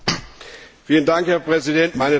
Herr Präsident, meine Damen und Herren!